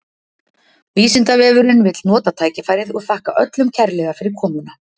vísindavefurinn vill nota tækifærið og þakka öllum kærlega fyrir komuna!